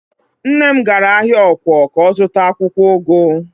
Nne m gara ahịa ọ̀kwọ̀ ka ọ zụta akwụkwọụgụ.